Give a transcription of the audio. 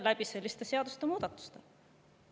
Just selliste seadusemuudatuste tõttu.